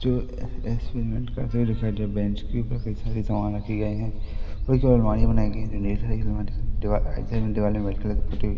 जो एक्सपेरिमेंट करते हुए दिखाई दे बेंच के ऊपर कई सारे सामान रखे गए हैं और कई अलमारियां बनाई गई हैं दीवाल में वाइट कलर का पुट्टी --